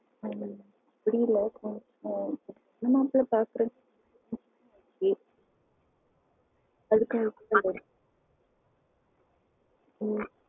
ஹம் தெரியல இப்போ ஹம்